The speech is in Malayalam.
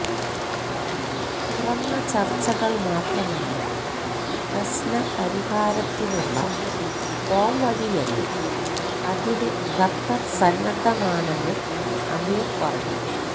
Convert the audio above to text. തുറന്ന ചര്ച്ചകള് മാത്രമാണ് പ്രശ്നപരിഹാരത്തിനുള്ള പോംവഴിയെന്നും അതിന് ഖത്തര് സന്നദ്ധമാണെന്നും അമീര് പറഞ്ഞു